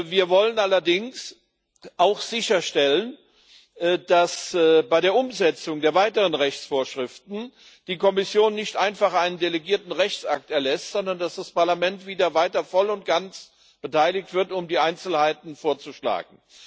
Wir wollen allerdings auch sicherstellen, dass die Kommission bei der Umsetzung der weiteren Rechtsvorschriften nicht einfach einen delegierten Rechtsakt erlässt, sondern, dass das Parlament weiterhin voll und ganz beteiligt wird, um die Einzelheiten vorzuschlagen.